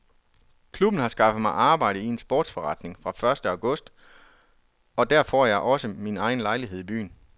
Klubben har skaffet mig arbejde i en sportsforretning fra første august og der får jeg også min egen lejlighed i byen.